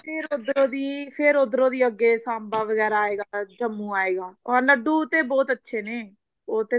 ਫੇਰ ਉੱਧਰੋਂ ਦੀ ਫੇਰ ਉੱਧਰੋਂ ਅੱਗੇ ਸਾਂਬਾ ਵਗੈਰਾ ਆਏਗਾ ਜੰਮੂ ਆਏਗਾ ਉਹ ਲੱਡੂ ਤੇ ਬਹੁਤ ਅੱਛੇ ਨੇ ਉਹ ਤੇ